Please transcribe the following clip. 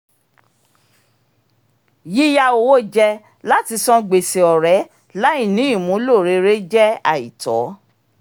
yíyá owó jẹ láti san gbèsè ọ̀rẹ́ láì ní ìmúlò rere jẹ́ àìtọ́